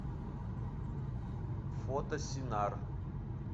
фото синар